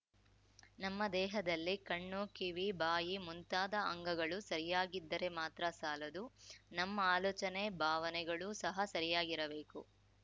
ನಮ್ಮ ದೇಹದಲ್ಲಿ ಕಣ್ಣು ಕಿವಿ ಬಾಯಿ ಮುಂತಾದ ಅಂಗಗಳು ಸರಿಯಾಗಿದ್ದರೆ ಮಾತ್ರ ಸಾಲದು ನಮ್ಮ ಆಲೋಚನೆ ಭಾವನೆಗಳೂ ಸಹ ಸರಿಯಾಗಿರಬೇಕು